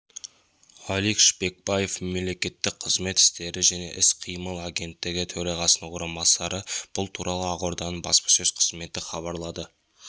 алик шпекбаев мемлекеттік қызмет істері және іс-қимыл агенттігі төрағасының орынбасары бұл туралы ақорданың баспасөз қызметі хабарлады